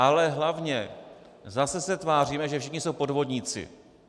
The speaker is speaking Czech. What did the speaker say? Ale hlavně zase se tváříme, že všichni jsou podvodníci.